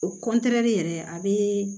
O kɔntɛni yɛrɛ a bɛ